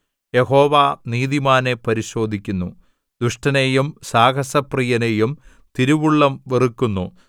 യഹോവ നീതിമാനെ പരിശോധിക്കുന്നു ദുഷ്ടനെയും സാഹസപ്രിയനെയും തിരുവുള്ളം വെറുക്കുന്നു